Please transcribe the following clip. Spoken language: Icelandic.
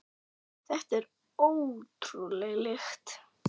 Þetta er ótrúleg lykt.